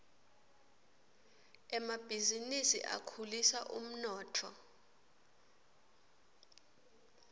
emabhizinisi akhulisa umnotfo